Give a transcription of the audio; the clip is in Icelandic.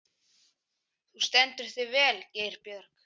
Þú stendur þig vel, Geirbjörg!